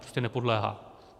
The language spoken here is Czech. Prostě nepodléhá.